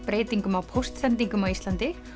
breytingum á póstsendingum á Íslandi